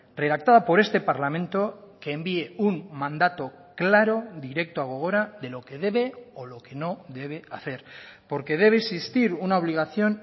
redactada por este parlamento que envíe un mandato claro directo a gogora de lo que debe o lo que no debe hacer porque debe existir una obligación